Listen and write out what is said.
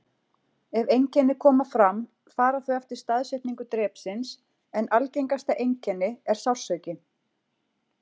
Ef einkenni koma fram fara þau eftir staðsetningu drepsins, en algengasta einkenni er sársauki.